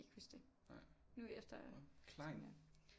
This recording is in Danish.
Huske det nu efter tænker jeg